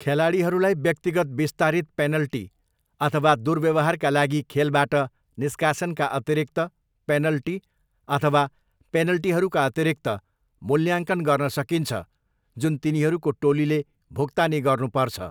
खेलाडीहरूलाई व्यक्तिगत विस्तारित पेनल्टी अथवा दुर्व्यवहारका लागि खेलबाट निष्कासनका अतिरिक्त पेनल्टी अथवा पेनल्टीहरूका अतिरिक्त मूल्याङ्कन गर्न सकिन्छ जुन तिनीहरूको टोलीले भुक्तानी गर्नुपर्छ।